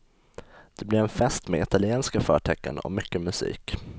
Det blir en fest med italienska förtecken och mycket musik.